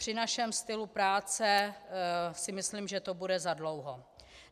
Při našem stylu práce si myslím, že to bude zadlouho.